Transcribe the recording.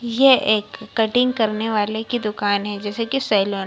ये एक कटिंग करने वाले की दुकान है जैसे की सैलून ।